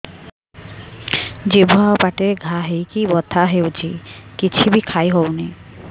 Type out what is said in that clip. ଜିଭ ଆଉ ପାଟିରେ ଘା ହେଇକି ବଥା ହେଉଛି କିଛି ବି ଖାଇହଉନି